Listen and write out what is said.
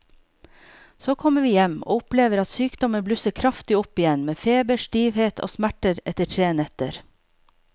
Så kommer vi hjem og opplever at sykdommen blusser kraftig opp igjen med feber, stivhet og smerter etter tre netter.